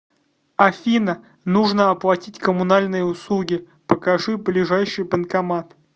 афина нужно оплатить коммунальные услуги покажи ближайший банкомат